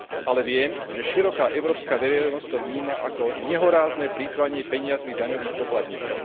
Ale viem, že široká európska verejnosť to vníma ako nehorázne plytvanie peniazmi daňových poplatníkov.